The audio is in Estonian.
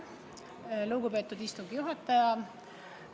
Lugupeetud istungi juhataja!